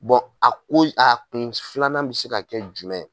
Bɔ a koyi a kun filanan bi se ka kɛ jumɛn?